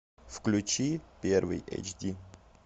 включи первый эйч ди